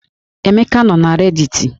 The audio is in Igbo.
Emeka nọ na rediti